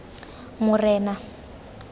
morena